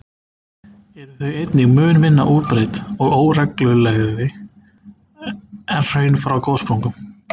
eru þau einnig mun minna útbreidd og óreglulegri en hraun frá gossprungum.